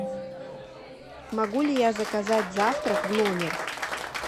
могу ли я заказать завтрак в номер